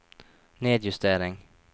nedjustering